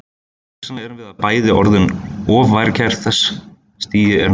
Hugsanlega erum við bara bæði orðin of værukær þegar þessu stigi er náð.